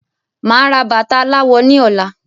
Máa ra bata aláwọ ní ọ̀la